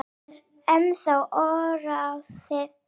Það er ennþá óráðið.